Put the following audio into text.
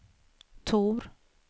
Tor